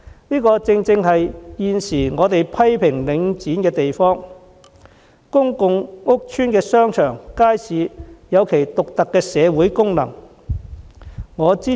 這正正是我們現時批評領展的問題，須知道公共屋邨的商場和街市有其獨特的社會功能。